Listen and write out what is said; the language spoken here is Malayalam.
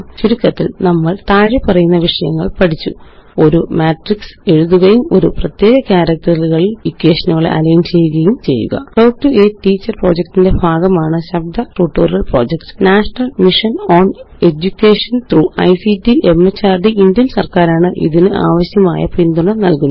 ചുരുക്കത്തില് നമ്മള് താഴെപ്പറയുന്ന വിഷയങ്ങള് പഠിച്ചു ഒരു മാട്രിക്സ് എഴുതുകയും ഒരു പ്രത്യേക ക്യാരക്റ്ററില് ഇക്വേഷനുകളെ അലൈന് ചെയ്യുകയും ചെയ്യുക talk to a teacher project ന്റെ ഭാഗമാണ് ശബ്ദ ട്യൂട്ടോറിയൽ projectനേഷണൽ മിഷൻ ഓൺ എഡ്യൂകേഷൻ ത്രോഗ് ictമെഹർദ് ഇന്ത്യന് സര്ക്കാരാണ് ഇതിനാവശ്യമായ പിന്തുണ നല്കുന്നത്